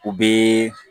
U bɛ